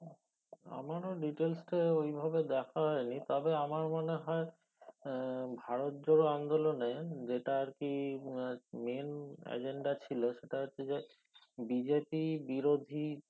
আমরাও details টা ঐ ভাবে দেখা হয় নি তবে আমার মনে হয় আহ ভারত জোড়ো আন্দোলনে যেটা আর কি আহ ম্যান agenda ছিলো সেটা হচ্ছে BJP বিরোধী